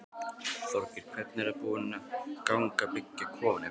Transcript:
Þorgeir: Hvernig er búið að ganga að byggja kofann ykkar?